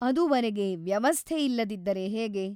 ಅದುವರೆಗೆ ವ್ಯವಸ್ಥೆ ಇಲ್ಲದಿದ್ದರೆ ಹೇಗೆ ?